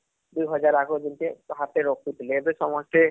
ଦୁଇ ୧୦୦୦ ଆଗରୁ ଯେମିତି ହାତରେ ରଖୁଥିଲେ ଏବେ ସମସ୍ତେ